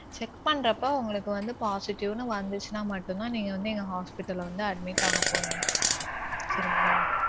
Check பண்றப்ப உங்களுக்கு வந்து positive னு வந்திச்சுனா மட்டும்தான் நீங்க வந்து எங்க hospital ல வந்து admit ஆகப்போறிங்க சரிங்களா.